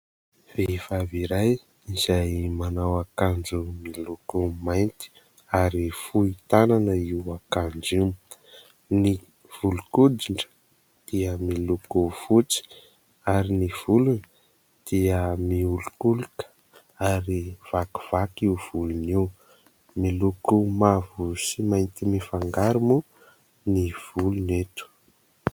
Vehivavy iray izay manao akanjo miloko mainty ary fohy tanana io akanjo io. Ny volon-koditra dia miloko fotsy ary ny volony dia miolokoloka ary vakivaky io volony io, miloko mavo sy mainty mifangaro moa ny volony eto.